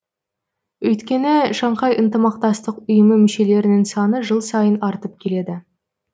өйткені шанхай ынтымақтастық ұйымы мүшелерінің саны жыл сайын артып келеді